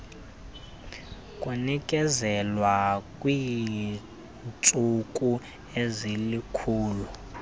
kunikezelwa kwiintsuku ezilikhulu